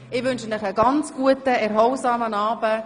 Ich wünsche Ihnen einen guten, erholsamen Abend.